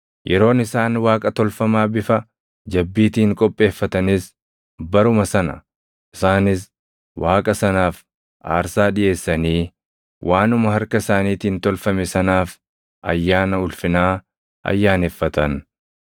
Yeroon isaan Waaqa tolfamaa bifa jabbiitiin qopheeffatanis baruma sana; isaanis Waaqa sanaaf aarsaa dhiʼeessanii waanuma harka isaaniitiin tolfame sanaaf ayyaana ulfinaa ayyaaneffatan.